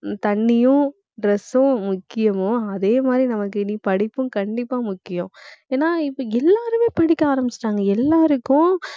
தண்ணியும், dress ம் முக்கியமோ, அதே மாதிரி நமக்கு இனி படிப்பும் கண்டிப்பா முக்கியம். ஏன்னா, இப்ப எல்லாருமே படிக்க ஆரம்பிச்சுட்டாங்க. எல்லாருக்கும்